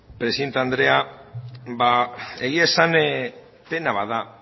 presidente andrea egia esan pena bat da